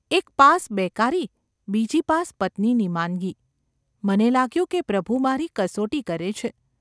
એક પાસ બેકારી અને બીજી પાસ પત્નીની માંદગી ! મને લાગ્યું કે પ્રભુ મારી કસોટી કરે છે.